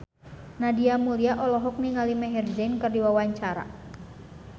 Nadia Mulya olohok ningali Maher Zein keur diwawancara